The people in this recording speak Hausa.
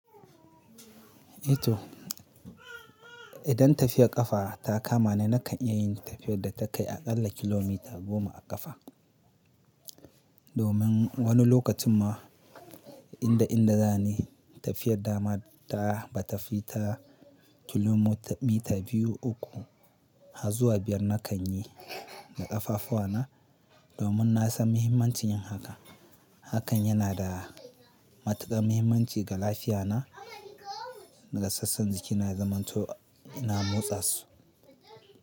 Ito idan tafiyar ƙafa ta kama ni nakan iya yin tafiyar da ta kai aƙalla kilomita goma a ƙafa. Domin wani lokacin ma inda inda za ni tafiyar dama ta ba ta fi ta kilomita biyu uku, hazuwa biyar na kan yi da ƙafafuwa na domin na san mahimmancin yin haka. Hakan yana da matuƙar mahimmanci ga lafiya na, ga sassan jiki na zamanto ina motsa su.